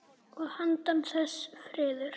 Og handan þess: friður.